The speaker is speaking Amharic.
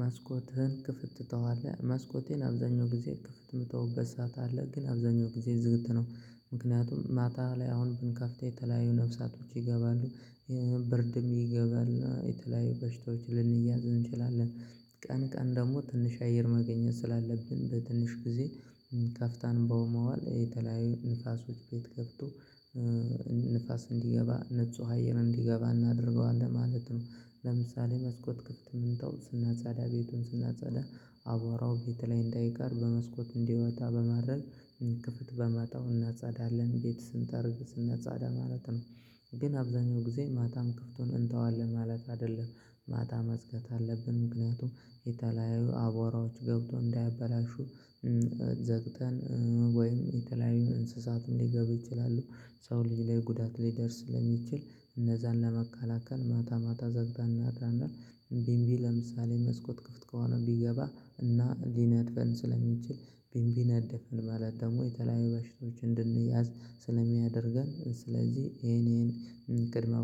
መስኮትህን ክፍት ትተዋለህ? መስኮቴን አብዛኛው ጊዜ ክፍት የምተውበት ሰዓት አለ ግን አብዛኛው ጊዜ ዝግት ነው። ምክንያቱም ማታ ላይ አሁን ብንከፍተው የተለያዩ ነፍሳቶች ይገባሉ ብርድም ይገባል የተለያዩ በሽታዎች ልንያዝ እንችላለን። ቀን ቀን ደግሞ ትንሽ አየር ማግኘት ስላለብን በትንሽ ጊዜ ከፍተን በመዋል የተለያዩ ንፋሶች ቤት ገብቶ ንፋስ እንዲገባ ንጹህ አየር እንዲገባ እናደርገዋለን ማለት ነው። ለምሳሌ መስኮት ክፍት ምንተው ስናጸዳ ቤቱን ስናጻዳ አቧራው ቤት ላይ እንዳይቀር በመስኮት እንዲወጣ በማድረግ ክፍት በመተው እናጻዳለን ቤት ስንጠርግ ስናጻዳ ማለት ነው። ግን አብዛኛው ጊዜ ማታም ክፍቱን እንተዋለን ማለት አይደለም። ማታ መዝጋት አለብን ምክንያቱም የተለያዩ አቧራዎች ገብቶ እንዳያበላሹ ዘግተን ወይም የተለያዩ እንስሳትም ሊገቡ ይችላሉ። ሰው ልጅ ላይ ጉዳት ሊደርስ ስለሚችል እነዛን ለመካላከል ማታ ማታ ዘግተን እናድራለን። ቢንቢ ለምሳሌ መስኮት ክፍት ከሆነ ቢገባ እና ሊነድፈን ስለሚችል ቢንቢ ነደፈን ማለት ደግሞ የተለያዩ በሽቶች እንድንያዝ ስለሚያደርገን። ስለዚህ ይሄን ይሄን ቅድመ